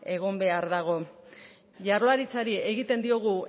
egin behar dago jaurlaritzari egiten diogu